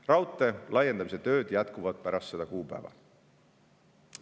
Raudtee laiendamise tööd jätkuvad pärast seda kuupäeva.